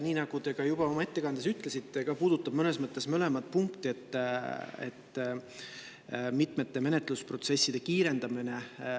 Nii nagu te ka juba oma ettekandes ütlesite – see puudutab mõnes mõttes mõlemat punkti –, käsil on mitmete menetlusprotsesside kiirendamine.